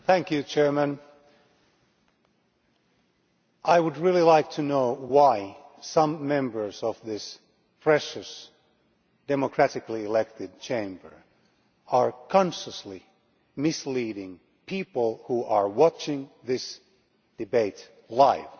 Mr President, I would really like to know why some Members of this precious, democratically elected Chamber are consciously misleading people who are watching this debate live.